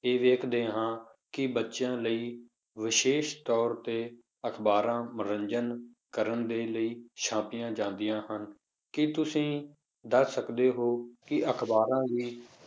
ਇਹ ਵੇਖਦੇ ਹਾਂ ਕਿ ਬੱਚਿਆਂ ਲਈ ਵਿਸ਼ੇਸ਼ ਤੌਰ ਤੇ ਅਖ਼ਬਾਰਾਂ ਮਨੋਰੰਜਨ ਕਰਨ ਦੇ ਲਈ ਛਾਪੀਆਂ ਜਾਂਦੀਆਂ ਹਨ, ਕੀ ਤੁਸੀਂ ਦੱਸ ਸਕਦੇ ਹੋ ਕਿ ਅਖ਼ਬਾਰਾਂ ਵੀ